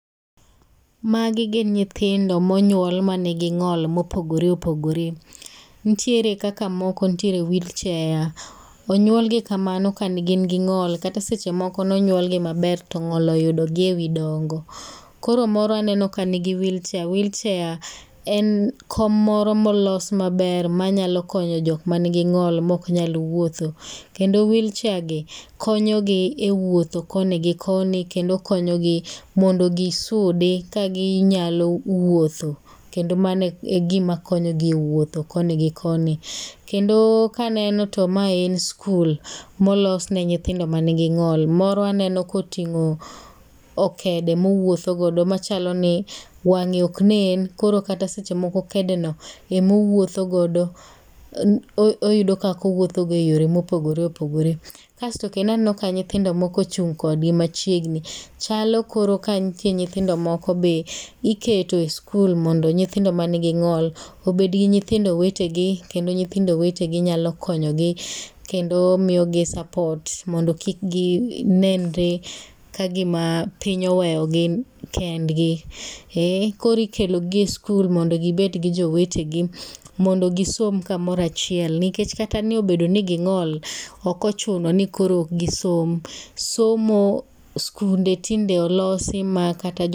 Magi gin nyithindo monyuol manigi ng'ol mopogore opogore. Ntiere kaka moko ntiere wheel chair. Onyuolgi kamano ka gin gi ng'ol kata sechemoko nonyuolgi maber to ng'ol oyudogi e wii dongo. Koro moro aneno ka ni gi wheel chair. Wheel chair en kom moro molos maber manyalo konyo jok manigi ng'ol mok nyal wuotho kendo wheel chair gi konyogi e wuotho koni gi koni kendo konyogi mondo gisudi ka ginyalo wuotho kendo mano e gima konyogi e wuotho koni gi koni. Kendo kaneno to mae en skul molosne nyithindo manigi ng'ol. Moro aneno koting'o okede mowuotho godo machalo ni wang'e oknen koro kata sechemoko kede no emowuotho godo. Oyudo kakowupothogo e yore mopogore opogore. Kasto kendo aneno ka nyithindo moko ochung' kodgi machiegni. Chalo koro ka ntie nyithindo moko be miketo e skul mondo nyithindo manigi ng'ol obedgi nyithindo wetegi kendo nyithindo wetegi nyalo konyogi kendo miyogi support mondo kik ginenre ka gima piny oweyogi kendgi. Koro ikelogi e skul mondo gibedgi jowetegi mondo gisom kamoro achiel nikech kata niobedo ni ging'ol okochuno ni koro okgisom. Somo skunde tinde olosi ma kata jo.